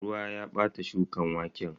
Ruwa ya bata shukan waken.